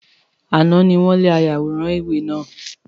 Àná ni wọ́n lé ayàwòrán ìwé náà.